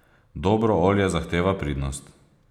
Dobro olje zahteva pridnost.